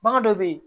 Bagan dɔ bɛ yen